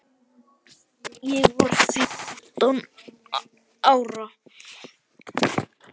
Ég var fjórtán ára.